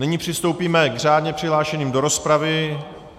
Nyní přistoupíme k řádně přihlášeným do rozpravy.